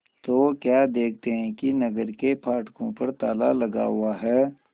तो क्या देखते हैं कि नगर के फाटकों पर ताला लगा हुआ है